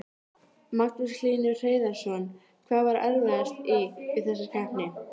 Magnús Hlynur Hreiðarsson: Hvað var erfiðast í, við þessa keppni?